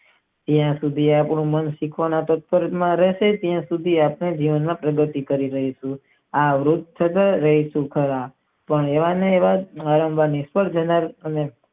જ્યાં સુધી આપણું મન સુખ માં રેસે ત્યાં સુધી આપણે ધ્યાન માં બેસવું જોઈએ આ કહેવાની વાત છે.